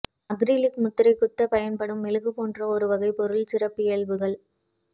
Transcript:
acrylic முத்திரை குத்தப் பயன்படும் மெழுகு போன்ற ஒரு வகைப் பொருள் சிறப்பியல்புகள்